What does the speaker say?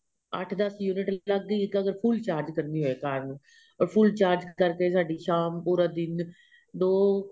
ਅੱਠ ਦੱਸ unit ਲੱਗ ਗਈ ਜਦੋਂ full charge ਕਰਣੀ ਹੋਵੇ ਕਾਰ ਨੂੰ full charge ਕਰਕੇ ਸ਼ਾਮ ਪੂਰਾ ਦਿਨ ਦੋ